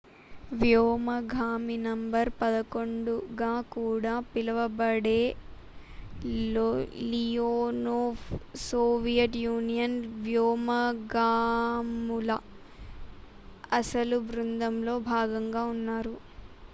"""వ్యోమగామి నం. 11" గా కూడా పిలువబడే లియోనోవ్ సోవియట్ యూనియన్ వ్యోమగాముల అసలు బృందంలో భాగంగా ఉన్నారు.